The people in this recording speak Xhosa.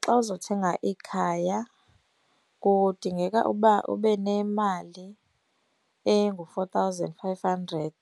Xa uzothenga ikhaya kudingeka uba ube nemali engu-four thousand five hundred